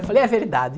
Eu falei, é verdade.